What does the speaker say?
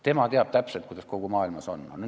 Tema teab täpselt, kuidas kogu maailmas lood on!